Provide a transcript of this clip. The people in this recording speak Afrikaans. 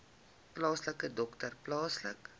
plaaslike dokter plaaslike